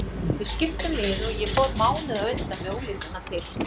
Við skiptum liði og ég fór mánuði á undan með unglingana til